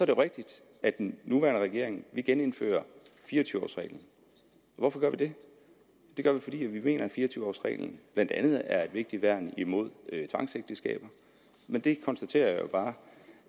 jo rigtigt at den nuværende regering vil genindføre fire og tyve års reglen hvorfor gør vi det det gør vi fordi vi mener at fire og tyve års reglen blandt andet er et vigtigt værn imod tvangsægteskaber men det konstaterer jeg jo bare